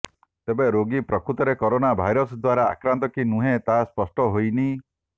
ତେବେ ରୋଗୀ ପ୍ରକୃତରେ କରୋନା ଭାଇରସ ଦ୍ୱାରା ଆକ୍ରାନ୍ତ କି ନୁହେଁ ତାହା ସ୍ପଷ୍ଟ ହୋଇନି